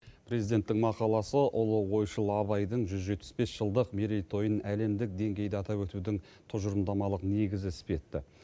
президенттің мақаласы ұлы ойшыл абайдың жүз жетпіс бес жылдық мерейтойын әлемдік деңгейде атап өтудің тұжырымдамалық негізі іспетті